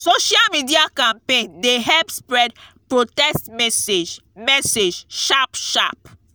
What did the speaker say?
social media campaign dey help spread protest message message sharp sharp